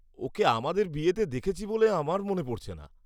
ওকে আমাদের বিয়েতে দেখেছি বলে আমার মনে পড়ছে না।